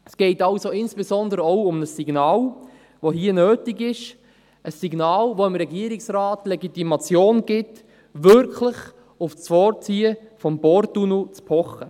Es geht also insbesondere auch um ein Signal, das hier nötig ist – ein Signal, das dem Regierungsrat die Legitimation gibt, wirklich auf das Vorziehen des Porttunnels zu pochen.